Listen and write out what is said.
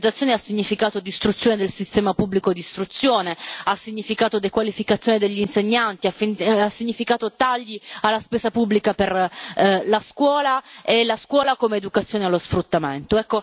Modernizzazione ha significato distruzione del sistema pubblico di istruzione, ha significato dequalificazione degli insegnanti, ha significato tagli alla spesa pubblica per la scuola e la scuola come educazione allo sfruttamento.